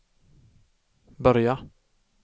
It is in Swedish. börja